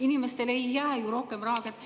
Inimestele ei jää ju rohkem raha kätte.